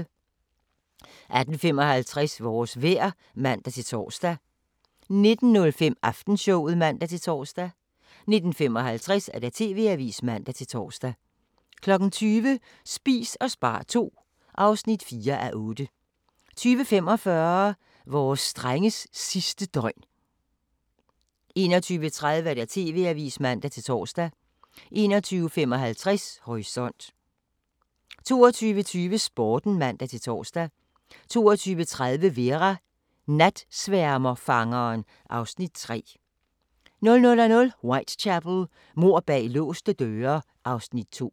18:55: Vores vejr (man-tor) 19:05: Aftenshowet (man-tor) 19:55: TV-avisen (man-tor) 20:00: Spis og spar II (4:8) 20:45: Vores drenges sidste døgn 21:30: TV-avisen (man-tor) 21:55: Horisont 22:20: Sporten (man-tor) 22:30: Vera: Natsværmerfangeren (Afs. 3) 00:00: Whitechapel: Mord bag låste døre (Afs. 2)